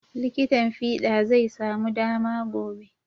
Likitin fiɗa zai samu dama gobe.